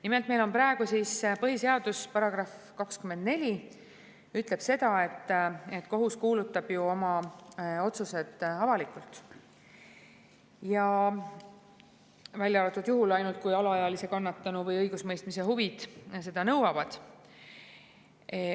Nimelt, põhiseaduse § 24 ütleb seda, et kohus kuulutab oma otsused avalikult, välja arvatud juhul, kui alaealise, kannatanu või õigusemõistmise huvid seda nõuavad.